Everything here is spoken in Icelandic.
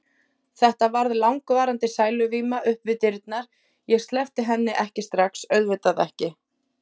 Þetta varð langvarandi sæluvíma upp við dyrnar, ég sleppti henni ekki strax, auðvitað ekki.